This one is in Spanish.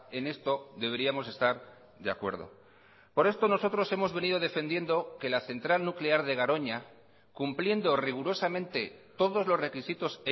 en esto deberíamos estar de acuerdo por esto nosotros hemos venido defendiendo que la central nuclear de garoña cumpliendo rigurosamente todos los requisitos